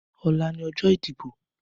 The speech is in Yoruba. Ọlà ni ọjọ idibó